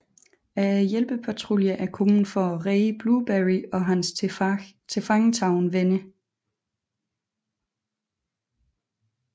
Hjælpepatruljen er kommet for at redde Blueberry og hans tilfangetagne venner